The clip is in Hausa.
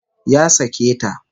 Ya sake ta